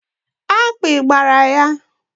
Akpị gbara ya.